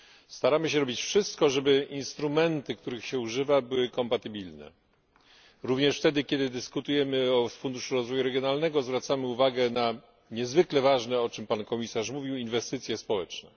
Staramy się robić wszystko, żeby instrumenty, których się używa, były kompatybilne. Również wtedy, kiedy dyskutujemy o Funduszu Rozwoju Regionalnego, zwracamy uwagę na niezwykle ważne o czym pan komisarz mówił inwestycje społeczne.